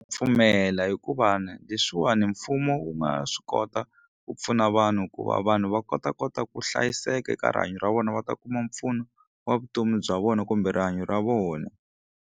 Pfumela hikuva na leswiwani mfumo wu nga swi kota ku pfuna vanhu ku va vanhu va kota kota ku hlayiseka eka rihanyo ra vona va ta kuma mpfuno wa vutomi bya vona kumbe rihanyo ra vona.